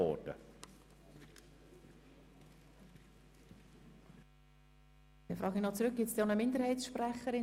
Gibt es einen Minderheitssprecher oder eine Mindersprecherin?